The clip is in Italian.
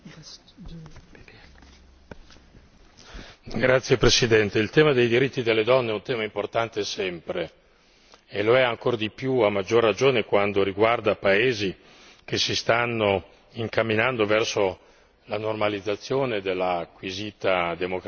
Signora Presidente, onorevoli colleghi, il tema dei diritti delle donne è un tema importante sempre e lo è ancor di più e a maggior ragione quando riguarda paesi che si stanno incamminando verso la normalizzazione dell'acquisita democrazia.